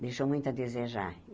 Deixou muito a desejar.